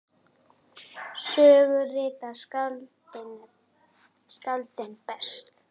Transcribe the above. Sögu rita skáldin best.